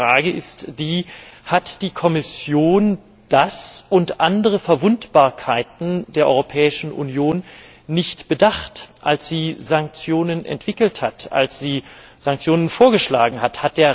Aber meine Frage ist die Hat die Kommission das und andere Verwundbarkeiten der Europäischen Union nicht bedacht, als sie Sanktionen entwickelt hat, als sie Sanktionen vorgeschlagen hat?